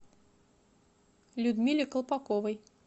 людмиле колпаковой